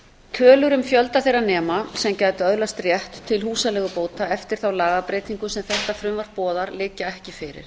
tölur um fjölda þeirra nema sem gætu öðlast rétt til húsaleigubóta eftir þá lagabreytingu sem þetta frumvarp boðar liggja ekki fyrir